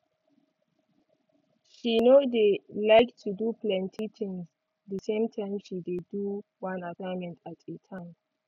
she no dey like to do plenty tinz d same time she dey do one assignment at a time